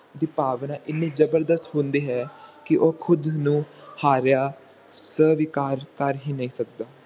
ਦੀ ਭਾਵਨਾ ਹਨੀ ਜਬਰਦਸਤ ਹੁੰਦੀ ਹੈ ਕੀ ਉਹ ਖੁਦ ਨੂੰ ਹਾਰਿਆ ਸਵੀਕਾਰ ਕਰ ਹੀ ਨਹੀਂ ਸਕਦਾ